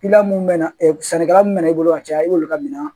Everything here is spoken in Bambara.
mun bɛ na sanni kɛla mun bɛ na ne bolo ka caya i b'olu ka minɛn